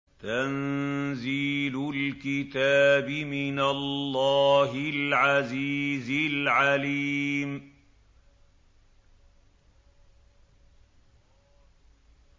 تَنزِيلُ الْكِتَابِ مِنَ اللَّهِ الْعَزِيزِ الْعَلِيمِ